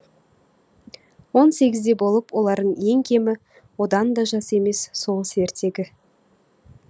он сегізде болып олар ең кемі одан да жас емес соғыс ертегі